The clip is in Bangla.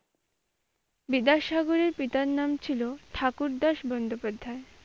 বিদ্যাসাগরের পিতার নাম ছিল ঠাকুরদাস বন্দ্যোপাধ্যায়।